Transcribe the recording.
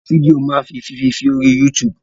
Àwọn fídíò máa fi fífi sí orí YouTube.